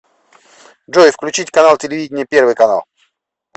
джой включить канал телевидения первый канал